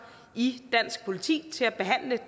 i dansk politi til at behandle